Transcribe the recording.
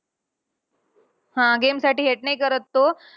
हा. Game साठी hate नाही करत तो.